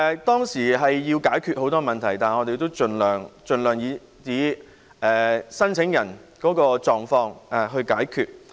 當時要解決很多問題，但我們盡量根據申請人的狀況來解決。